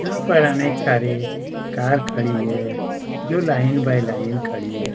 यहाँ पर अनेक सारी कार खड़ी है जो लाइन बाय लाइन खड़ी हैं।